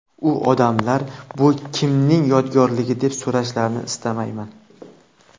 U ‘odamlar bu kimning yodgorligi deb so‘rashlarini istamayman.